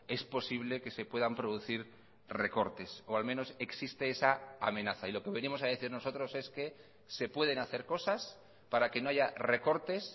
es posible que se puedan producir recortes o al menos existe esa amenaza y lo que venimos a decir nosotros es que se pueden hacer cosas para que no haya recortes